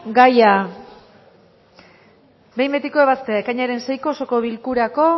gaia behin betiko ebaztea ekainaren seiko osoko bilkurako